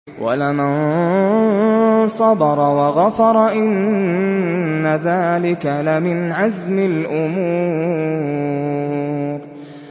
وَلَمَن صَبَرَ وَغَفَرَ إِنَّ ذَٰلِكَ لَمِنْ عَزْمِ الْأُمُورِ